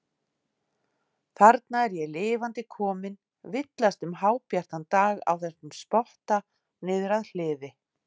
Þarna er ég lifandi kominn, villast um hábjartan dag á þessum spotta niður að hliði.